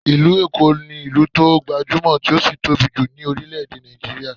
Ìlú Èkó ní ìlú tó gbajúmọ̀, tí ó sì tóbi jù ní orílé-èdè Nigeria